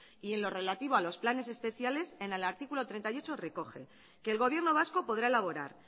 y en lo relativo a los planes especiales en el artículo treinta y nueve recoge que el gobierno vasco podrá elaborar